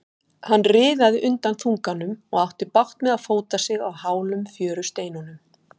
Hann riðaði undan þunganum og átti bágt með að fóta sig á hálum fjörusteinunum.